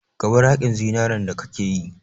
Ka bar haƙin zinaren da kake yi!